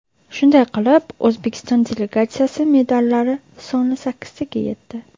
Shunday qilib, O‘zbekiston delegatsiyasi medallari soni sakkiztaga yetdi.